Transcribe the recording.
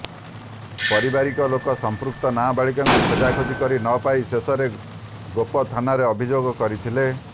ପରିବାରଲୋକ ସମ୍ପୃକ୍ତ ନାବାଳିକାଙ୍କୁ ଖୋଜାଖୋଜି କରି ନ ପାଇ ଶେଷରେ ଗୋପ ଥାନାରେ ଅଭିଯୋଗ କରିଥିଲେ